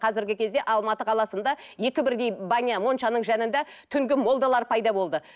қазіргі кезде алматы қаласында екі бірдей баня моншаның жанында түнгі молдалар пайда болды